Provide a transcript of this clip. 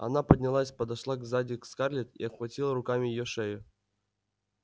она поднялась подошла сзади к скарлетт и обхватила руками её шею